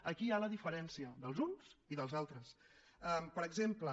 aquí hi ha la diferència dels uns i dels altres per exemple